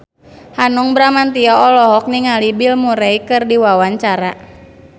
Hanung Bramantyo olohok ningali Bill Murray keur diwawancara